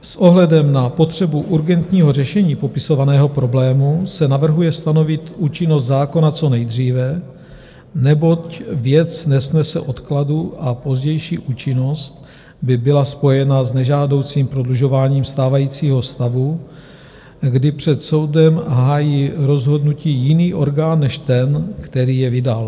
S ohledem na potřebu urgentního řešení popisovaného problému se navrhuje stanovit účinnost zákona co nejdříve, neboť věc nesnese odkladu a pozdější účinnost by byla spojena s nežádoucím prodlužováním stávajícího stavu, kdy před soudem hájí rozhodnutí jiný orgán než ten, který je vydal.